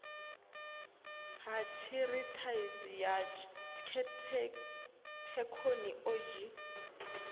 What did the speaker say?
ha tshiṱirathedzhi ha thekhono odzhi